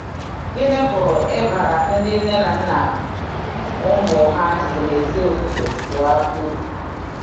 Gịnị pụrụ ịbara ndị nne na nna ụmụ ha si n’ezi ofufe pụọ uru?